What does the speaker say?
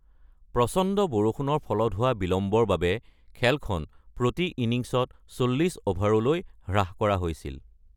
প্ৰচণ্ড বৰষুণৰ ফলত হোৱা বিলম্বৰ বাবে খেলখন প্ৰতি ইনিংছত ৪০ অভাৰলৈ হ্ৰাস কৰা হৈছিল।